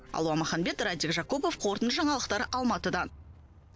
алуа маханбет раджик жакупов қорытынды жаңалықтар алматыдан